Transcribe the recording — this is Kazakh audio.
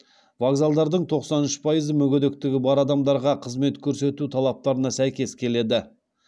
вокзалдардың тоқсан үш пайызы мүгедектігі бар адамдарға қызмет көрсету талаптарына сәйкес келеді